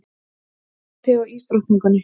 Passaðu þig á ísdrottningunni.